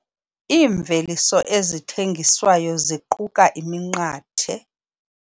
Iimveliso ezithengiswayo ziquka iminqathe.